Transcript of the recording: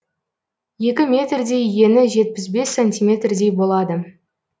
екі метрдей ені жетпіс бес сантиметрдей болады